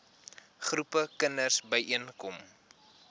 groepe kinders byeenkom